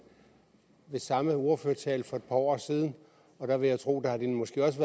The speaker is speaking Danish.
samme ordførertale for et par år siden og der vil jeg tro at de måske også